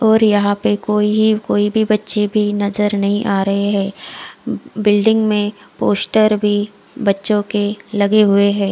और यहाँ पे कोई है कोई भी बच्चे भी नज़र नही आ रहे है बिल्डिंग में पोस्टर भी बच्चो के लगे हुए है।